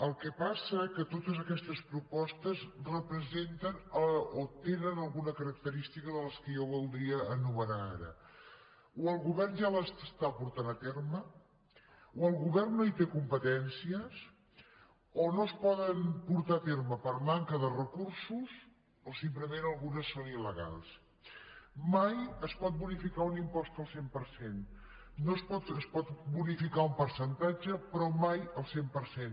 el que passa és que totes aquestes propostes representen o tenen alguna característica de les que jo voldria enumerar ara o el govern ja les està portant a terme o el govern no hi té competències o no es poden portar a terme per manca de recursos o simplement algunes són ilmai es pot bonificar un impost al cent per cent es pot bonificar un percentatge però mai al cent per cent